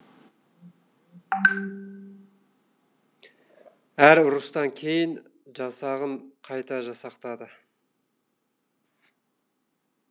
әр ұрыстан кейін жасағын қайта жасақтады